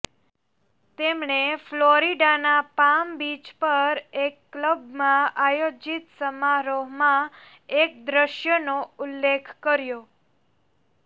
તેમણે ફ્લોરિડાના Palm Beach પર એક ક્લબમાં આયોજીત સમારોહમાં એ દ્રશ્યનો ઉલ્લેખ કર્યો